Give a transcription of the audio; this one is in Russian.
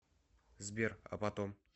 сбер а потом